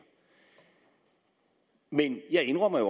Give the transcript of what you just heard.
men jeg indrømmer jo